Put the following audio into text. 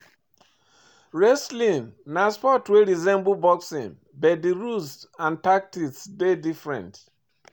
Wrestling na sport wey resemble boxing but di rules and tactics dey different